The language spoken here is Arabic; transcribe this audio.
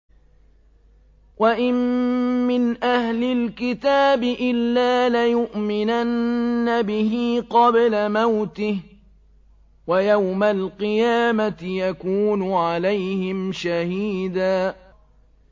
وَإِن مِّنْ أَهْلِ الْكِتَابِ إِلَّا لَيُؤْمِنَنَّ بِهِ قَبْلَ مَوْتِهِ ۖ وَيَوْمَ الْقِيَامَةِ يَكُونُ عَلَيْهِمْ شَهِيدًا